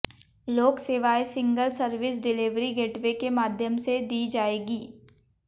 लोक सेवाएँ single service delivery gateway के माध्यम से दी जायेगी